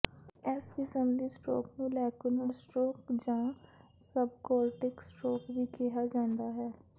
ਇਸ ਕਿਸਮ ਦੀ ਸਟ੍ਰੋਕ ਨੂੰ ਲੈਕੂਨਾਰ ਸਟ੍ਰੋਕ ਜਾਂ ਸਬਕੋਰਟਿਕ ਸਟ੍ਰੋਕ ਵੀ ਕਿਹਾ ਜਾਂਦਾ ਹੈ